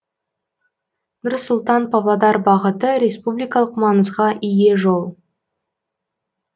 нұр сұлтан павлодар бағыты республикалық маңызға ие жол